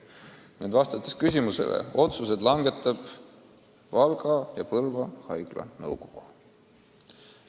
Otsesele küsimusele vastates ma selgitan, et otsused langetavad Valga ja Põlva haigla nõukogu.